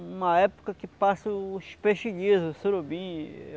uma época que passa os peixes lisos, surubim.